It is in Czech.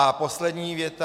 A poslední věta.